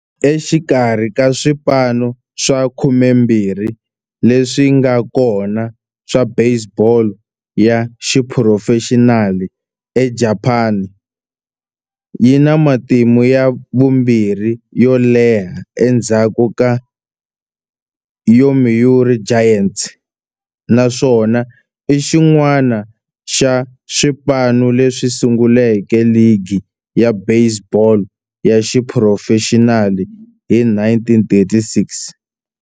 Exikarhi ka swipano swa 12 leswi nga kona swa baseball ya xiphurofexinali eJapani, yi na matimu ya vumbirhi yo leha endzhaku ka Yomiuri Giants, naswona i xin'wana xa swipano leswi sunguleke ligi ya baseball ya xiphurofexinali hi 1936.